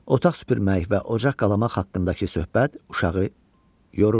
Otaq süpürmək və ocaq qalamaq haqqındakı söhbət uşağı yorurdu.